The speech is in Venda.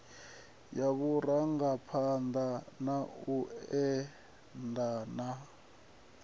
ya vhurangaphanda na u edana